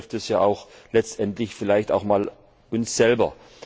Also betrifft es ja letztendlich vielleicht auch einmal uns selber.